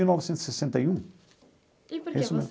Mil novecentos e sessenta e um. E por que você